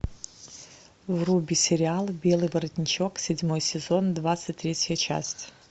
вруби сериал белый воротничок седьмой сезон двадцать третья часть